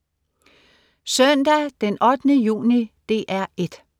Søndag den 8. juni - DR 1: